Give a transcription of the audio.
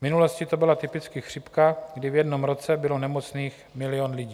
V minulosti to byla typicky chřipka, kdy v jednom roce bylo nemocných milion lidí.